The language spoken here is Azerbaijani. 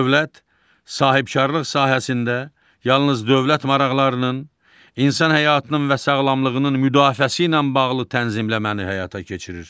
Dövlət sahibkarlıq sahəsində yalnız dövlət maraqlarının, insan həyatının və sağlamlığının müdafiəsi ilə bağlı tənzimləməni həyata keçirir.